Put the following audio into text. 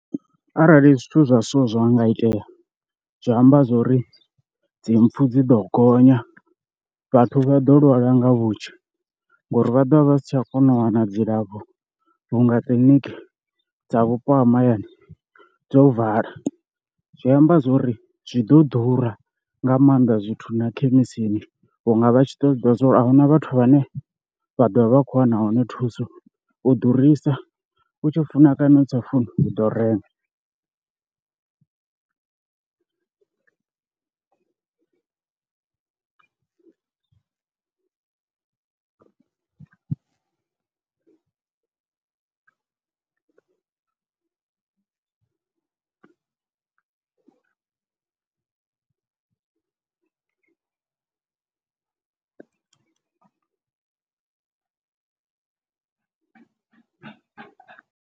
Arali zwithu zwa so zwa nga itea zwi amba zwori dzi mpfu dzi ḓo gonya, vhathu vha ḓo lwala nga vhunzhi ngori vha ḓovha vha si tsha kona u wana dzilafho vhunga kiḽiniki dza vhupo ha mahayani dzo vala, zwi amba zwori zwi ḓo ḓura nga maanḓa zwithu na khemisini vhunga vha tshi ḓo ḓivha zwa uri a huna vhathu vhane vha ḓovha vha khou wana hone thuso, u ḓurisa u tshi funa kana u sa funi u ḓo renga.